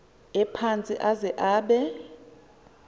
ephantsi aze abe